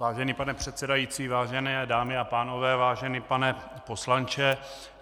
Vážený pane předsedající, vážené dámy a pánové, vážený pane poslanče.